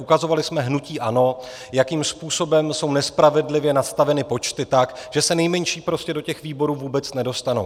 Ukazovali jsme hnutí ANO, jakým způsobem jsou nespravedlivě nastaveny počty tak, že se nejmenší prostě do těch výborů vůbec nedostanou.